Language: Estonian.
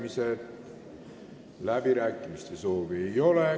Avan läbirääkimised, kõnesoove ei ole.